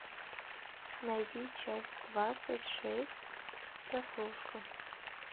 найди часть двадцать шесть прослушка